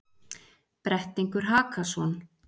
Brettingur Hakason,